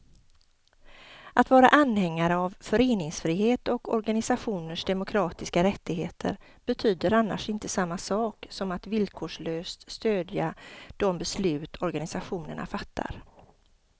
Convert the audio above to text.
Att vara anhängare av föreningsfrihet och organisationers demokratiska rättigheter betyder annars inte samma sak som att villkorslöst stödja de beslut organisationerna fattar.